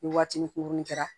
Ni waatini kunkuruni kɛra